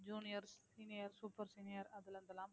juniors seniors super senior அதுல இருந்தெல்லாம்